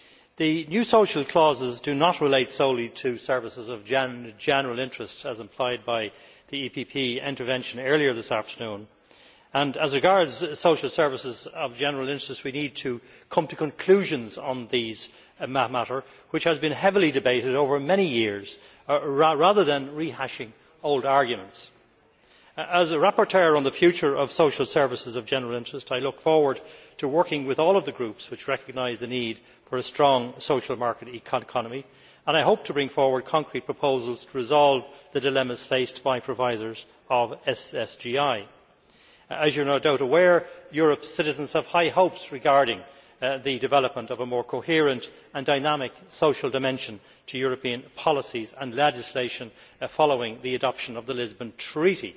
The new social clauses do not relate solely to services of general interest as implied by the EPP intervention earlier this afternoon and, as regards social services of general interest we need to come to conclusions on these matters which have been heavily debated over many years, rather than rehashing old arguments. As rapporteur on the future of social services of general interest, I look forward to working with all the groups which recognise the need for a strong social market economy and I hope to bring forward concrete proposals to resolve the dilemmas faced by providers of SSGI. As you are no doubt aware, Europe's citizens have high hopes regarding the development of a more coherent and dynamic social dimension to European policies and legislation following the adoption of the Lisbon Treaty.